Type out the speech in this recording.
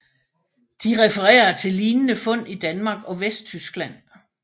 De refererer til lignende fund i Danmark og Vesttyskland